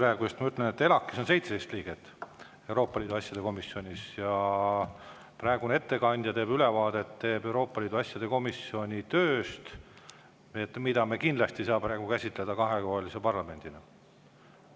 Aga ma ütlen, et ELAK-is ehk Euroopa Liidu asjade komisjonis on 17 liiget ja ettekandja tegi ülevaate Euroopa Liidu asjade komisjoni tööst, mida me kindlasti ei saa praegu käsitleda parlamendi.